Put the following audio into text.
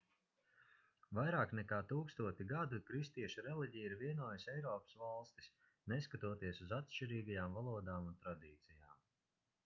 vairāk nekā tūkstoti gadu kristiešu reliģija ir vienojusi eiropas valstis neskatoties uz atšķirīgajām valodām un tradīcijām